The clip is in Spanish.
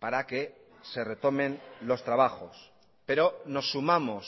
para que se retomen los trabajos pero nos sumamos